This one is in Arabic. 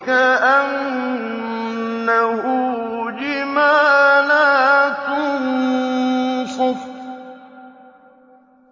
كَأَنَّهُ جِمَالَتٌ صُفْرٌ